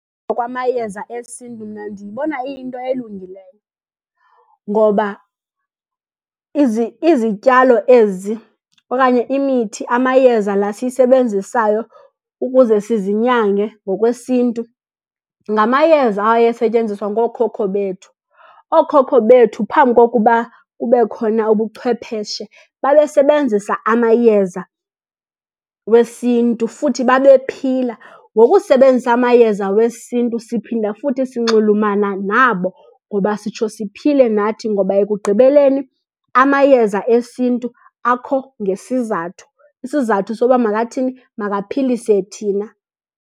Okwamayeza esiNtu mna ndiyibona iyinto elungileyo, ngoba izityalo ezi okanye imithi, amayeza la siyisebenzisayo ukuze sizinyange ngokwesiNtu ngamayeza ayesetyenziswa ngokhokho bethu. Okhokho bethu phambi kokuba kube khona ubuchwepheshe babesebenzisa amayeza wesiNtu futhi babephila. Ngokusebenzisa amayeza wesiNtu siphinda futhi sinxulumana nabo ngoba sitsho siphile nathi. Ngoba ekugqibeleni amayeza esinNtu akho ngesizathu, isizathu soba makathini, makaphilise thina.